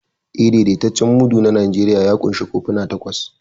Eh, daidaitaccen mudu na Najeriya ya ƙunshi kofuna takwas.